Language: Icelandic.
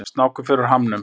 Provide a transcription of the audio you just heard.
Snákur fer úr hamnum.